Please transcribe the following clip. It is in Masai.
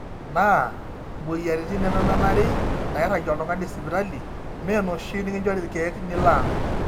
naa imweyiaritin nememenari nairagie oltung'ani sipitali meenoshi nikinjori irkeek niloang